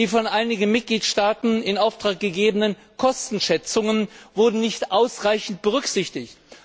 Die von einigen Mitgliedstaaten in Auftrag gegebenen Kostenschätzungen wurden nicht ausreichend berücksichtigt.